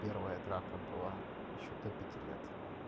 первая драка была ещё до пяти лет